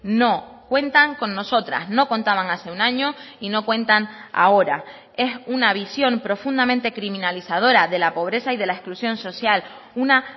no cuentan con nosotras no contaban hace un año y no cuentan ahora es una visión profundamente criminalizadora de la pobreza y de la exclusión social una